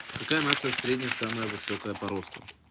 какая нация в среднем самая высокая по росту